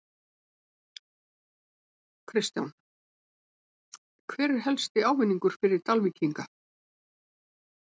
Kristján: Hver er helsti ávinningur fyrir Dalvíkinga?